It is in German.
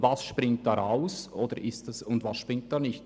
Was springt dabei raus und was nicht?